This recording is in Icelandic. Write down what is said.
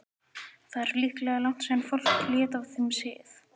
Það er líklega langt síðan fólk lét af þeim sið.